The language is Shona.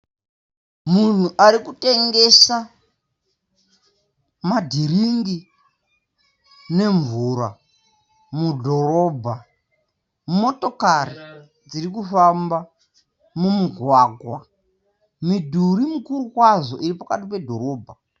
Munhu arikutengesa madiringi nemvura mudhorobha. Motokari dzirikufamba mumugwagwa. Midhuri mikuru kwazvo iri pakati pedhorobha.